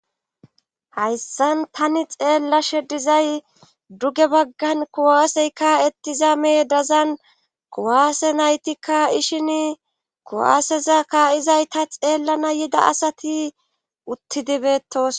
hayssan tani xeellashe dizay duge baggan kuwasey ka'ettiza meedazan kuwaase naytikka ishin kuwaaseza kaa7izay ta xeellana yida asati uttidi betosona